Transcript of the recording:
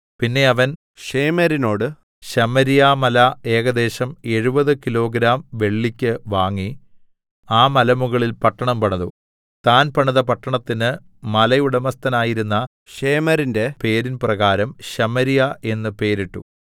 പിന്നെ അവൻ ശേമെരിനോട് ശമര്യാമല ഏകദേശം 70 കിലോഗ്രാം വെള്ളിക്ക് വാങ്ങി ആ മലമുകളിൽ പട്ടണം പണിതു താൻ പണിത പട്ടണത്തിന് മലയുടമസ്ഥനായിരുന്ന ശേമെരിന്റെ പേരിൻ പ്രകാരം ശമര്യാ എന്ന് പേരിട്ടു